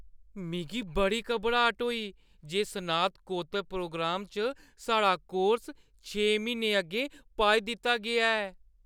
मिगी बड़ी घबराट होई जे स्नातकोत्तर प्रोग्राम च साढ़े कोर्स छे म्हीने अग्गें पाई दित्ता गेआ ऐ।